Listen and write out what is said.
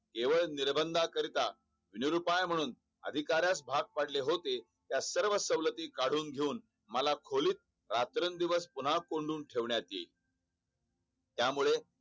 केवळ निर्बानदाकरिता नीर उपाय म्ह्णून अधिकाऱ्यास भाग पडले होते या सर्व सवलती काढून मला खोलीत रात्र दिवस पुन्हा कोंडून ठेवण्यात येईल त्यामुळे